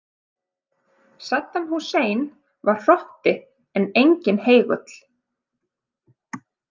Saddam Hussein var hrotti en enginn heigull.